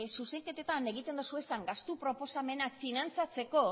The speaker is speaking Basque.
zuzenketetan egiten dituzuen gastu proposamenean finantzatzeko